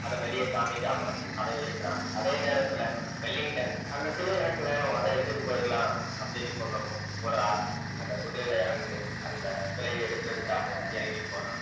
அதை வெளிய காமிக்காம அவன் இருக்கிறான் அதே நேரத்துல வெல்லிங்டன் அந்த சிலை எனக்கு வேணும் அத எடுத்துட்டு போயிரலாம் அப்படின்னு சொல்லவும் ஒரு ஆள் அந்த குதிரையில இருந்து அந்த சிலையை எடுக்கறதுக்காக இறங்கி போறான்